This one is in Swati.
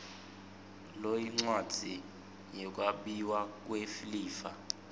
loyincwadzi yekwabiwa kwelifa